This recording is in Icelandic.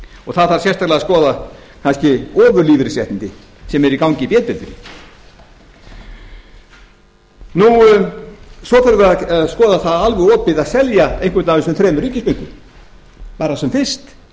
og það þarf sérstaklega að skoða kannski ofurlífeyrisréttindi sem eru í gangi í b deildinni svo þurfum við að skoða það alveg opið að selja einhvern af þessum þremur ríkisbönkum bara sem fyrst